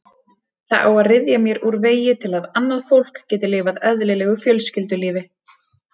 Það á að ryðja mér úr vegi til að annað fólk geti lifað eðlilegu fjölskyldulífi.